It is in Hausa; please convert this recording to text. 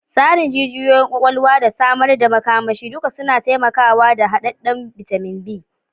Tsarin jijiyoyin kwakwalwa da samar da makamashi duka suna taimakawa da hadadden bitamin B.